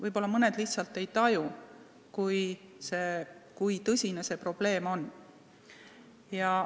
Võib-olla mõned lihtsalt ei taju, kui tõsine see probleem on.